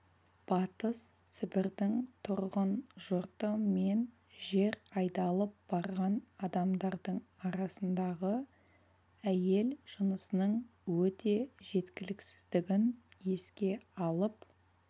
батыс сібірдің тұрғын жұрты мен жер айдалып барған адамдардың арасында әйел жынысының өте жеткіліксіздігін еске алып